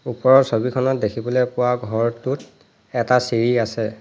ওপৰৰ ছবিখনত দেখিবলৈ পোৱা ঘৰটোত এটা চিৰি আছে।